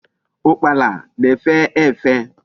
Ukpala na-efe efe